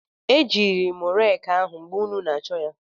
Ejiiri m reeki ahụ mgbe ụnụ na-achọ ya.